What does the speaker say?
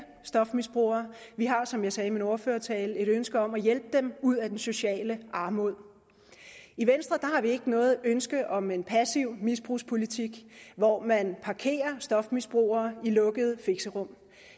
stofmisbrugere vi har som jeg sagde i min ordførertale et ønske om at hjælpe dem ud af den sociale armod i venstre har vi ikke noget ønske om en passiv misbrugspolitik hvor man parkerer stofmisbrugere i lukkede fixerum